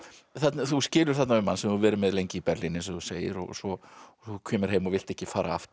þú skilur þarna við mann sem þú hefur verið með lengi í Berlín eins og þú segir og svo kemurðu heim og vilt ekki fara aftur